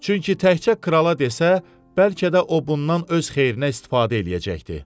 Çünki təkcə krala desə, bəlkə də o bundan öz xeyrinə istifadə eləyəcəkdi.